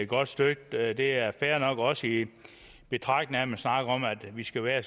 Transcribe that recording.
godt støtte det det er fair nok også i betragtning af at man snakker om at vi skal være